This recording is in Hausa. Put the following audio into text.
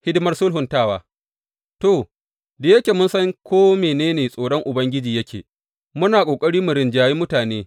Hidimar sulhuntawa To, da yake mun san ko mene tsoron Ubangiji yake, muna ƙoƙari mu rinjaye mutane.